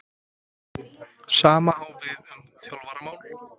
Sama á við um þjálfaramál?